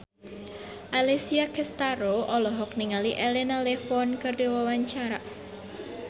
Alessia Cestaro olohok ningali Elena Levon keur diwawancara